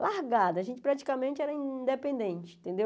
Largada, a gente praticamente era independente, entendeu?